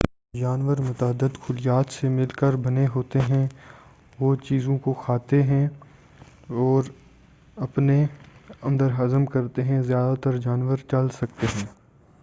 جانور متعدد خلیات سے مل کر بنے ہوتے ہیں وہ چیزوں کو کھاتے ہیں اور اپنے اندر ہضم کرتے ہیں زیادہ تر جانور چل سکتے ہیں